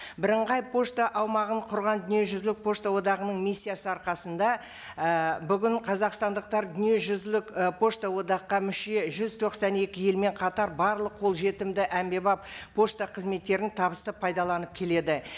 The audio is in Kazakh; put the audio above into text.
бірыңғай пошта аумағын құрған дүниежүзілік пошта одағының миссиясы арқасында і бүгін қазақстандықтар дүниежүзілік і пошта одаққа мүше жүз тоқсан екі елмен қатар барлық қолжетімді әмбебап пошта қызметтерін табысты пайдаланып келеді